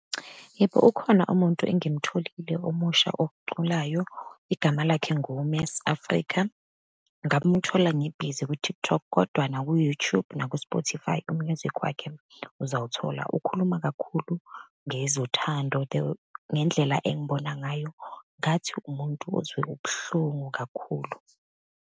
Yebo, ukhona umuntu engimtholile omusha oculayo, igama lakhe , ngamuthola ngibhizi ku-TikTok, kodwa naku-YouTube, naku-Spotify, u-muisc wakhe uzawuthola, ukhuluma kakhulu ngezothando. The ngendlela engibona ngayo ngathi umuntu ozwe ubuhlungu kakhulu.